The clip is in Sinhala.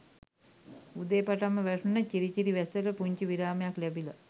උදේ පටන්ම වැටුන චිරි චිරි වැස්සට පුංචි විරාමයක් ලැබිලා